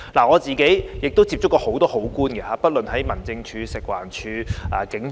我自己接觸過很多好官，不論在民政事務處、食物環境衞生署抑或警方。